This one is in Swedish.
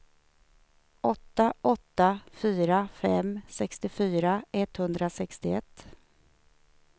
åtta åtta fyra fem sextiofyra etthundrasextioett